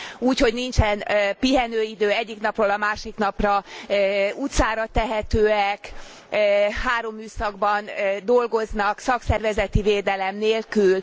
úgy, hogy nincsen pihenőidő, egyik napról a másik napra utcára tehetőek, három műszakban dolgoznak szakszervezeti védelem nélkül.